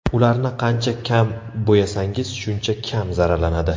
Ularni qancha kam bo‘yasangiz, shuncha kam zararlanadi.